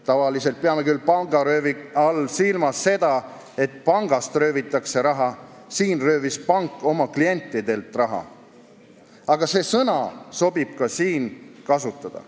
Tavaliselt peame pangaröövi all silmas seda, et pangast röövitakse raha, siin röövis pank oma klientidelt raha, aga see sõna sobib ka siin kasutada.